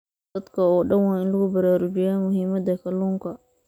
Dadka oo dhan waa in lagu baraarujiyaa muhiimadda kalluunka.